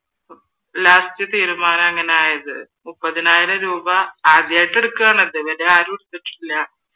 last തീരുമാനം അങ്ങനെ ആയത് മുപ്പതിനായിരം രൂപാ ആദ്യായിട്ട് എടുക്കുവാണ് അത് ഇതുവരെ ആരും എടുത്തിട്ടില്ല